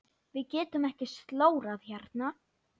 Við getum ekki slórað hérna.